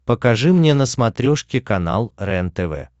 покажи мне на смотрешке канал рентв